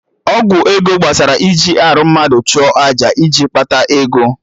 Ọgwụ ego gbasara iji arụ mmadụ chụọ aja maka iji kpata ego